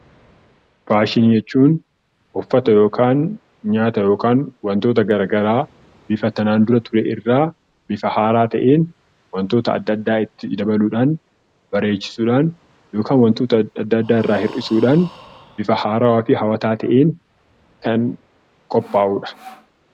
Faashinii jechuun nyaata, uffata, yookaan wantoota garaagaraa waan waan kanaan dura turerraa bifa haaraa ta'een wantoota adda addaa itti dabaluudhaan bareechuudhaan bifa haaraa fi hawwataa ta'een kan qophaa'udha.